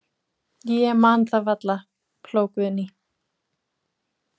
Ég man það varla, hló Guðný.